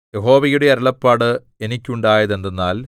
യഹോവയുടെ അരുളപ്പാട് എനിക്കുണ്ടായത് എന്തെന്നാൽ